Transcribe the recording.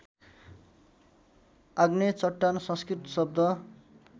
आग्नेय चट्टान संस्कृत शब्द